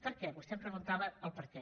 per què vostè me’n preguntava el perquè